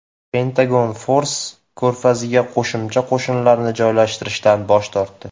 Pentagon Fors ko‘rfaziga qo‘shimcha qo‘shinlarni joylashtirishdan bosh tortdi.